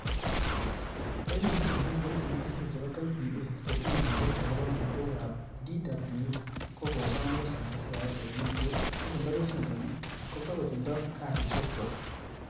En inguni, ko kiboitinik tugul chebo KPA, chetinye maget agobo ngecherok ab DWU, kokosom rusa sikoyai lewenisiet, ak indokisindoni kotokotindo kasisiekchwak.